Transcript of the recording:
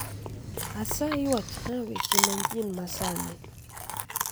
Asayi wachna weche manyien masani